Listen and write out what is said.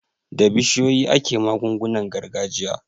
Da bishiyoyi ake magungunan gargajiya.